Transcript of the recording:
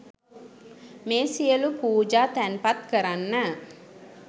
මේ සියලු පූජා තැන්පත් කරන්න